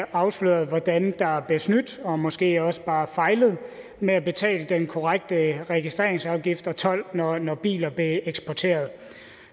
afslørede hvordan der blev snydt og måske også bare fejlet med at betale den korrekte registreringsafgift og told når når biler blev eksporteret